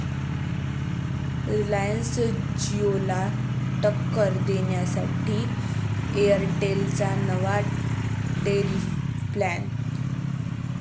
Reliance जिओला टक्कर देण्यासाठी एअरटेलचा नवा टेरिफ प्लॅन